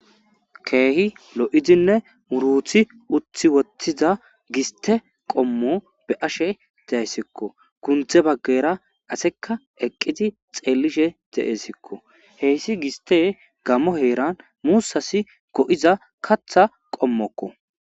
Keehi lo'idinne muruuti utti woththida giste qommo be'ashe de'aysiko; kunththe bageera aseka eqqidi xeelishe de'esikko; heyssi giste gammo heeran muussasi go'iza kaaththa qommoko.